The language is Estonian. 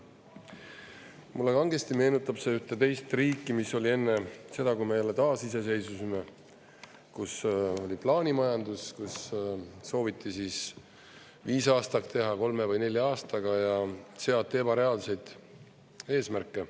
Mulle kangesti meenutab see ühte teist riiki, mis oli enne seda, kui me jälle taasiseseisvusime, kus oli plaanimajandus, kus sooviti viis aastat teha kolme või nelja aastaga ja seati ebareaalseid eesmärke.